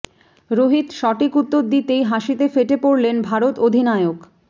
রোহিত সঠিক উত্তর দিতেই হাসিতে ফেটে পড়লেন ভারত অধিনায়ক